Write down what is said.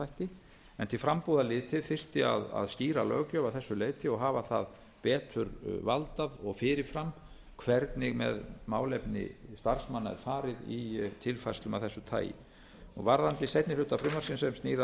starfsmannaþætti en til frambúðar litið þyrfti að stýra löggjöf að þessu leyti hafa það betur valdað og fyrir fram hvernig með málefni starfsmanna er farið í tilfærslum af þessu tagi varðandi seinni hluta frumvarpsins sem snýr